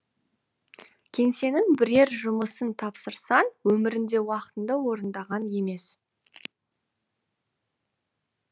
кеңсенің бірер жұмысын тапсырсаң өмірінде уақытында орындаған емес